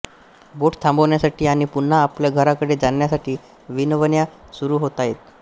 बोट थांबवण्यासाठी आणि पुन्हा आपल्या घराकडे जाण्यासाठी विनवण्या सुरू होतायेत